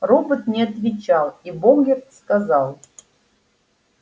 робот не отвечал и богерт сказал